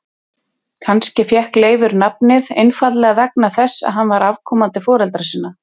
Kannski fékk Leifur nafnið einfaldlega vegna þess að hann var afkomandi foreldra sinna.